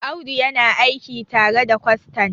Audu yana aiki tare da kwastan